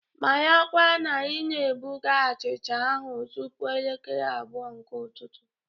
Marakwa na ị na-ebuga achịcha ahụ tupu elekere abụọ nke ụtụtụ!